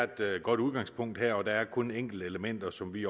der er et godt udgangspunkt her der er kun enkelte elementer som vi